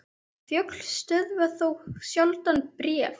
Fjöll stöðva þó sjaldan bréf.